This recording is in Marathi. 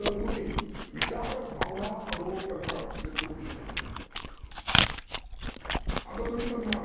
तर तुम्ही विचार भावना अनुभव कल्पना क्यक्त करु शकत नाही. आता तुम्ही म्हणार